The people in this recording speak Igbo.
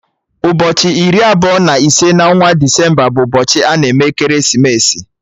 Ụbọchị iri abụọ na ise na onwa Desemba bụ ụbọchị ana eme ekeresimesi